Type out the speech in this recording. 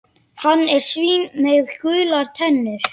Hann er svín með gular tennur.